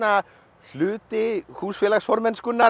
hluti